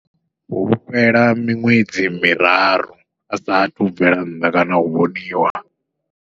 Hu fhela miṅwedzi miraru, a saathu bvela nnḓa kana u vhoniwa.